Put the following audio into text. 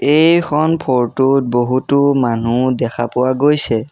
এইখন ফৰটো ত বহুতো মানুহ দেখা পোৱা গৈছে।